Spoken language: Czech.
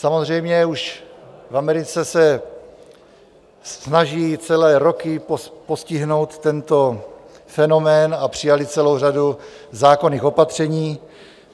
Samozřejmě už v Americe se snaží celé roky postihnout tento fenomén a přijali celou řadu zákonných opatření.